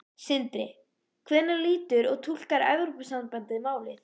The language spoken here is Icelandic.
Sindri: Hvernig lítur og túlkar Evrópusambandið málið?